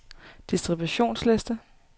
distributionsliste